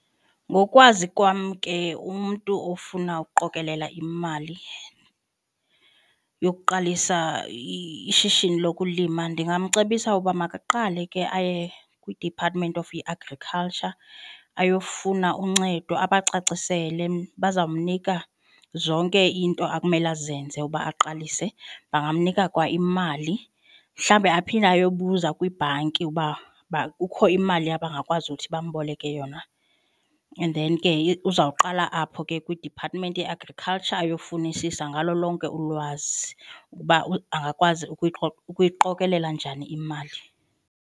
Ngokwazi kwam ke umntu ofuna ukuqokelela imali yokuqalisa ishishini lokulima ndingamcebisa ukuba makaqale ke aye kwi-department of i-agriculture ayofuna uncedo abacacisele bazamnika zonke into akumele azenze uba aqalise bangamnika kwa imali mhlawumbi aphinde ayobuza kwibhanki uba kukho imali abangakwazi uthi bamboleke yona then ke uzawuqala apho ke kwi-department ye-agriculture ayofunisisa ngalo lonke ulwazi ukuba angakwazi ukuyiqokelela njani imali.